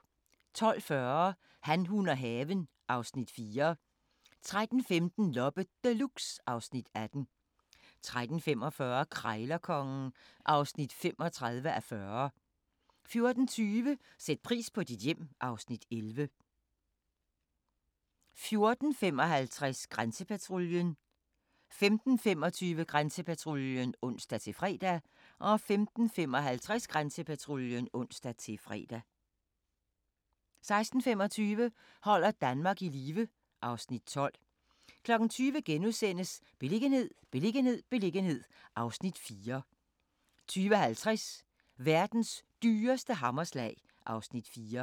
12:40: Han, hun og haven (Afs. 4) 13:15: Loppe Deluxe (Afs. 18) 13:45: Krejlerkongen (35:40) 14:20: Sæt pris på dit hjem (Afs. 11) 14:55: Grænsepatruljen 15:25: Grænsepatruljen (ons-fre) 15:55: Grænsepatruljen (ons-fre) 16:25: Holder Danmark i live (Afs. 12) 20:00: Beliggenhed, beliggenhed, beliggenhed (Afs. 4)* 20:50: Verdens dyreste hammerslag (Afs. 4)